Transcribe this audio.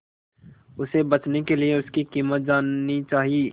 उसे बचने के लिए उसकी कीमत जाननी चाही